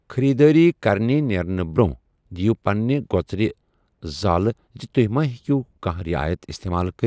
خریداری كرنہِ نیرنہٕ برون٘ہہ ، دِیو پننہِ گو٘ژرِ زٲلہِ زِ توہہِ ما ہیكِو كاہنہہ رِعایت استمال كرِتھ ۔